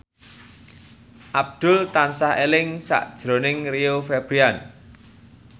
Abdul tansah eling sakjroning Rio Febrian